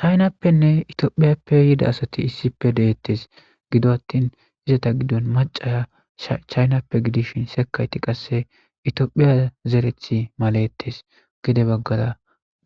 chaynappenne itiophiyappe yida asati issipe deettes gido attin izata giddon macaya chaynappe gidishin sekayti qasse itiophiya zerethi malettes gide baggara